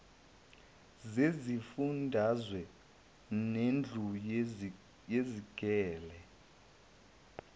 zezifundazwe nendlu yezigele